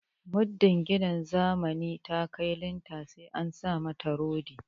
Muddin gidan zamani ta kai linta sai an sa mata rodi